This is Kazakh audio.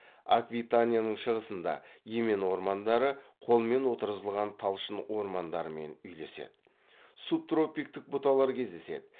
аквитанияның шығысында емен ормандары қолмен отырғызылған талшын ормандарымен үйлеседі субтропиктік бұталар кездеседі